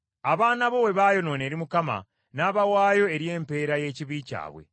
Abaana bo bwe baayonoona eri Mukama , n’abawaayo eri empeera y’ekibi kyabwe.